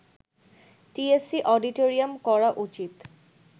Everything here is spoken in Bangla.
টিএসসি, অডিটরিয়াম করা উচিত